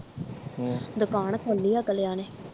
ਹਮ ਦੁਕਾਨ ਖੋਲੀ ਆ ਅਗਲਿਆਂ ਨੇ